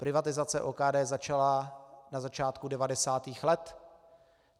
Privatizace OKD začala na začátku 90. let.